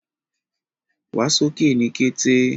Wà sókè ní kẹ̀tẹ̀!